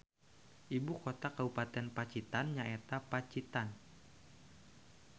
Ibu kota kabupaten Pacitan nyaeta Pacitan